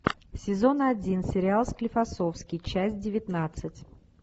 сезон один сериал склифосовский часть девятнадцать